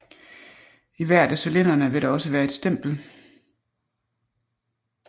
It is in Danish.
I hvert af cylinderne vil der også være et stempel